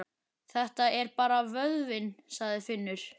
Þetta er bara vöðvinn, sagði Finnur.